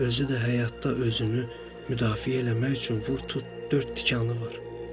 Özü də həyatda özünü müdafiə eləmək üçün vur-tut dörd tikanı var.